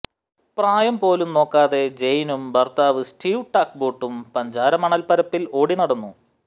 പ്രായം പോലും നോക്കാതെ ജയ്നും ഭർത്താവ് സ്റ്റീവ് ടാക്ബൊട്ടും പഞ്ചാര മണൽപ്പരപ്പിൽ ഓടി നടന്നു